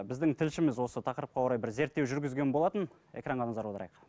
біздің тілшіміз осы тақырыпқа орай бір зерттеу жүргізген болатын экранға назар аударайық